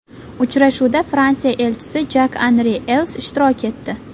Uchrashuvda Fransiya Elchisi Jak-Anri Els ishtirok etdi.